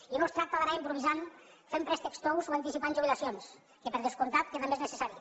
i no es tracta d’anar improvisant fent préstecs tous o anticipant jubilacions que per descomptat que també és necessari